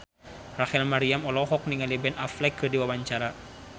Rachel Maryam olohok ningali Ben Affleck keur diwawancara